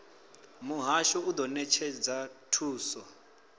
muhasho u do netshedza thuso